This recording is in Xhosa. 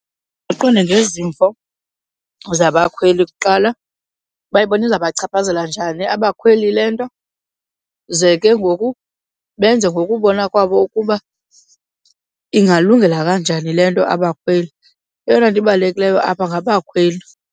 Baqonde ngezimvo zabakhweli kuqala. Bayibona izabachaphazela njani abakhweli le nto? Z ke ngoku benze ngokubona kwabo ukuba ingalungela kanjani le nto abakhweli. Eyona nto ibalulekileyo apha ngabakhweli.